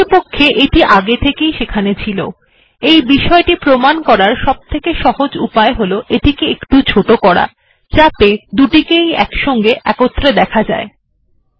প্রকৃতপক্ষে এটি আগে থেকেই সেখানে ছিলএই বিষয়টি প্রমান করার সবথেকে সহজ উপায় হল এটিকে একটু ছোট করা যাতে দুটিকে ই একসাথে দেখা যায়